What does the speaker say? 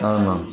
Taama